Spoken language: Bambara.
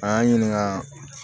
A y'an ɲininka